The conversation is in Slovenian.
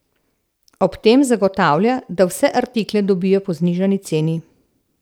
Ob tem zagotavlja, da vse artikle dobijo po znižani ceni.